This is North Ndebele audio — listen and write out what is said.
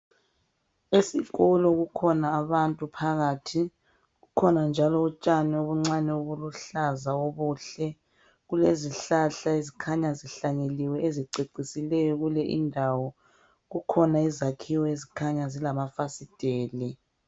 Esikolo kukhona abantu phakathi kukhona njalo utshani obuncane obuluhlaza obuhle. Kulezihlahla ezikhanya zihlanyeliwe leziceisileyo kule indawo kukhona izakhiwo ezikhanya zilamafasiteli.